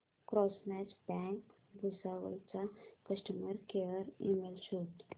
cosmos bank Bhusawal चा customer care email शोध